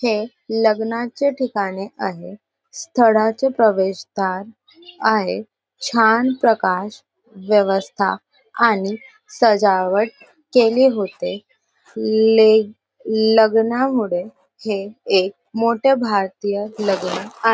हे लग्नाचे ठिकाने आहे स्थळाचे प्रवेश द्वार आहे छान प्रकाश व्यवस्था आणि सजावट केले होते ले लग्न मुले हे एक मोठे भारतीय लग्न आ--